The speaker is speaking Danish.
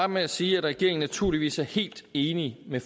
med at sige at regeringen naturligvis er helt enig med